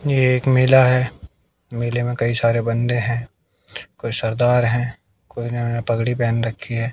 एक मेला है। मेले में कई सारे बंदे हैं। कोई सरदार हैं कोई नया पगड़ी पहन रखी है।